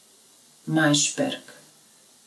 Majšperk.